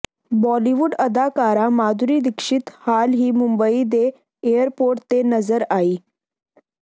ਬਾਲੀਵੁੱਡ ਅਦਾਕਾਰਾ ਮਾਧੁਰੀ ਦੀਕਸ਼ਿਤ ਹਾਲ ਹੀ ਮੁੰਬਈ ਦੇ ਏਅਰਪੋਰਟ ਤੇ ਨਜ਼ਰ ਆਈ